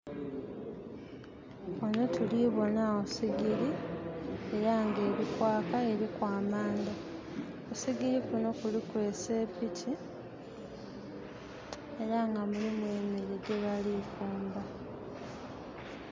Ghano tulibonagho siigiri era nga elikwaka eriku amandha . Kusigiri kuno kuliku esepiki era nga mulimu emere gyebali kufumba.